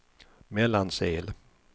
Mellansel